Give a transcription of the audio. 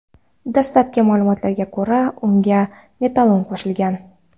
Dastlabki ma’lumotlarga ko‘ra, unga metanol qo‘shilgan.